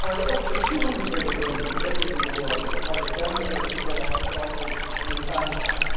There are up to 200 million women missing in the world because of gender based abortion and infanticide.